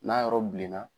N'a yɔrɔ bilenna